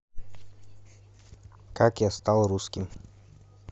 как я стал русским